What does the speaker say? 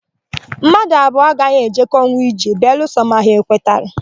Mmadụ abụọ agaghị ejekọnwu ije belụsọ ma ha ekwetara.